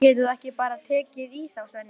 Getur þú ekki bara tekið í þá, Svenni?